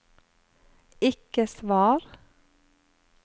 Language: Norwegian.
ikke svar